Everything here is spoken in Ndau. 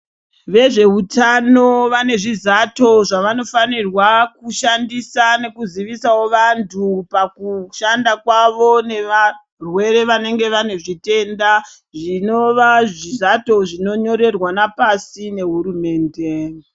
Vezveutano vane zvizato zvavanofanirwa kushandisa nekuzivisawo vantu pakushanda kwavo nevarwere vanenge vanezvitenda. Zvinova zvizato zvinonyorerwana pasi nehurumende.